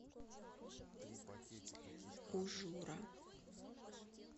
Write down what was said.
ужура